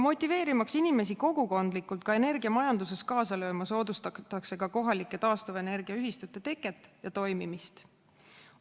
Motiveerimaks inimesi kogukondlikult energiamajanduses kaasa lööma, soodustatakse ka kohalike taastuvenergiaühistute teket ja toimimist.